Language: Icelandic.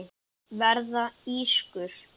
Verða ískur.